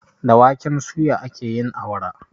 Da waken suya ake yin awara